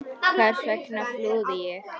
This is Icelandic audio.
Hvers vegna flúði ég?